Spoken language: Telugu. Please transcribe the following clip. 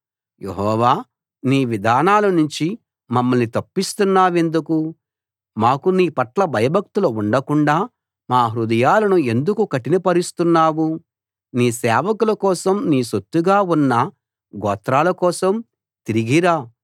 యెహోవా నీ విధానాలనుంచి మమ్మల్ని తప్పిస్తున్నావెందుకు మాకు నీ పట్ల భయభక్తులు ఉండకుండా మా హృదయాలను ఎందుకు కఠినపరుస్తున్నావు నీ సేవకుల కోసం నీ సొత్తుగా ఉన్న గోత్రాలకోసం తిరిగి రా